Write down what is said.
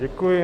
Děkuji.